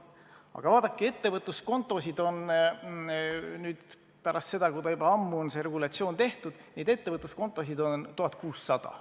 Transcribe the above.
Aga vaadake, ettevõtluskontosid on pärast seda, kui see regulatsioon kehtib, olemas 1600.